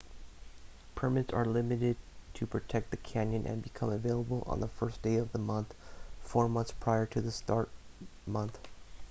permits are limited to protect the canyon and become available on the 1st day of the month four months prior to the start month